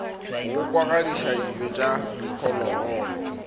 go kwadisa dijo tsa diphologolo